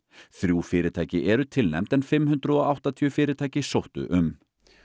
þrjú fyrirtæki eru tilnefnd en fimm hundruð og áttatíu fyrirtæki sóttu um